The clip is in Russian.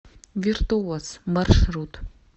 виртуоз маршрут